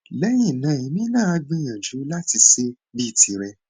lẹyìn náà èmi náà á gbìyànjú láti ṣe bíi tirẹ